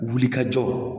Wulikajɔ